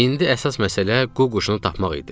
İndi əsas məsələ qu quşunu tapmaq idi.